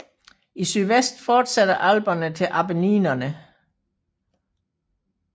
I sydvest fortsætter Alperne i Appenninerne